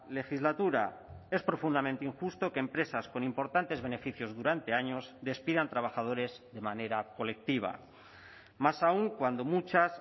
legislatura es profundamente injusto que empresas con importantes beneficios durante años despidan trabajadores de manera colectiva más aún cuando muchas